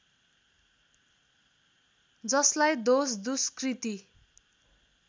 जसलाई दोष दुष्कृति